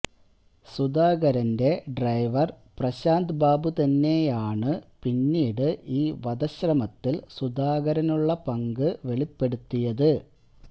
സുധാകരന്റെ ഡ്രൈവര് പ്രശാന്ത് ബാബു തന്നെയാണ് പിന്നീട് ഈ വധശ്രമത്തില് സുധാകരനുള്ള പങ്ക് വെളിപ്പെടുത്തിയത്